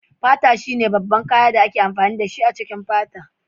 Fata shine babban kayan da ake amfani dashi a cikin fata.